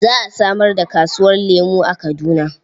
Za a samar da kasuwar lemo a Kaduna.